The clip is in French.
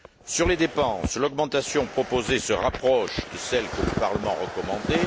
Sur les dépenses, l'augmentation proposée se rapproche de celle que le Parlement recommandait